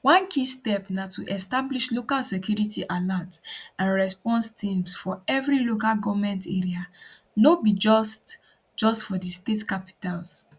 one key step na to establish local security alert and response teams for evri local goment area no be just just for di state capitals